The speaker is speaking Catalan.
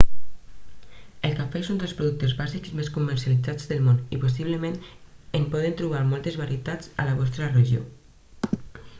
el cafè és un dels productes bàsics més comercialitzats del món i possiblement en podeu trobar moltes varietats a la vostra regió